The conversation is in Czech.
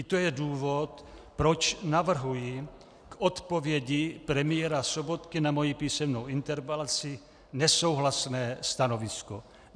I to je důvod, proč navrhuji k odpovědi premiéra Sobotky na svoji písemnou interpelaci nesouhlasné stanovisko.